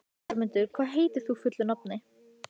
Fyrstu niðurstöðurnar lágu fyrir í október og nóvember.